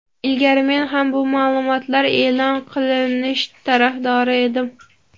Ilgari men ham bu ma’lumotlar e’lon qilinish tarafdori edim.